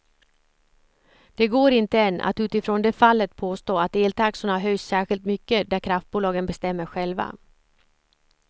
Det går inte än att utifrån det fallet påstå att eltaxorna höjs särskilt mycket där kraftbolagen bestämmer själva.